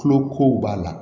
Tulo kow b'a la